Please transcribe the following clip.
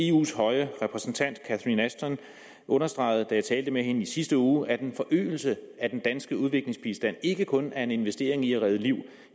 eus høje repræsentant catherine ashton understregede da jeg talte med hende i sidste uge at en forøgelse af den danske udviklingsbistand ikke kun er en investering i at redde liv